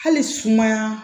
Hali sumaya